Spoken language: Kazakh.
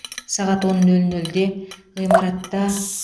сағат он нөл нөлде ғимаратта